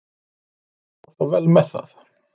Hann fór þó vel með það.